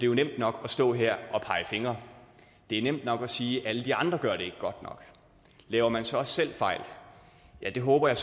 jo nemt nok at stå her og pege fingre det er nemt nok at sige at alle de andre ikke gør det godt nok laver man så også selv fejl ja det håber jeg